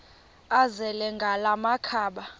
azele ngala makhaba